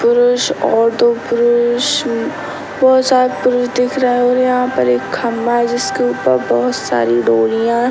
पुरुष और दो पुरुष उम बहुत सारे पुरुष दिख रहे हैं और यहाँ पर एक खम्भा है जिसके ऊपर बहुत सारी डोरियाँ --